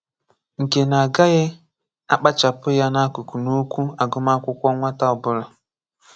Nkè ná á gàghị́ àkpàchàpụ̀ yá n’àkụ̀kụ̀ n’okwù ágụ̀màkụ̀kwọ̀ nwàtà ọ̀bụ̀là.